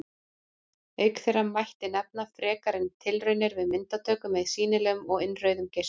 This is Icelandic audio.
Auk þeirra mætti nefna frekari tilraunir við myndatöku með sýnilegum og innrauðum geislum.